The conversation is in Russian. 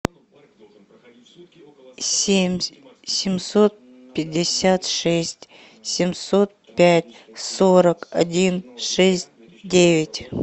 семь семьсот пятьдесят шесть семьсот пять сорок один шесть девять